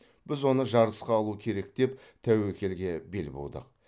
біз оны жарысқа алу керек деп тәуекелге бел будық